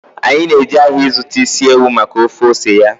Anyị na-eje ahịa ịzụta isi ewu maka ofe ose ya